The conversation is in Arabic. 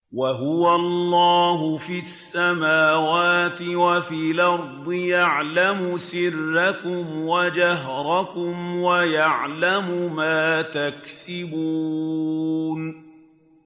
وَهُوَ اللَّهُ فِي السَّمَاوَاتِ وَفِي الْأَرْضِ ۖ يَعْلَمُ سِرَّكُمْ وَجَهْرَكُمْ وَيَعْلَمُ مَا تَكْسِبُونَ